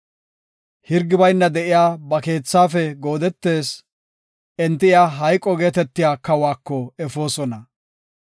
Hirgi bayna de7iya ba keethaafe goodetees; enti iya hayqo geetetiya kawako efoosona.